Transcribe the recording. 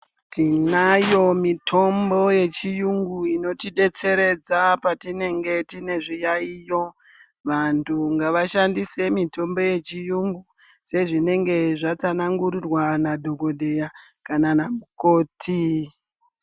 Tinayo mitombo yechiyungu inotidetseredza patinenge tine zviyaiyo. Vantu ngavashandise mitombo yechiyungu sezvinenge zvatsanangurirwa nadhogodheya kana namukoti.